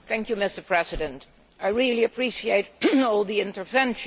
Mr President, I really appreciate all the interventions.